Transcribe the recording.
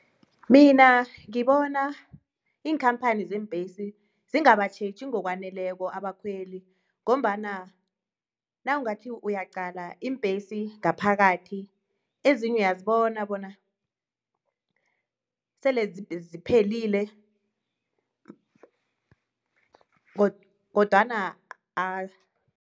Mina ngibona iinkhamphani zeembesi zingabatjheji ngokwaneleko abakhweli ngombana nawungathi uyaqala iimbhesi ngaphakathi ezinye uyazibona bona sele ziphelile kodwana